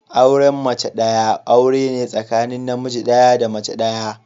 Auren mace daya aure ne tsakanin namiji daya da mace daya.